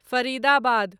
Faridabad